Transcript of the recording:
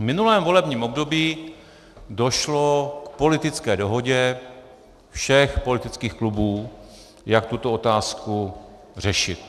V minulém volebním období došlo k politické dohodě všech politických klubů, jak tuto otázku řešit.